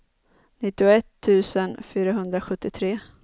nittioett tusen fyrahundrasjuttiotre